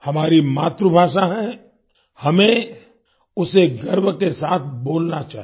हमारी मातृभाषा है हमें उसे गर्व के साथ बोलना चाहिए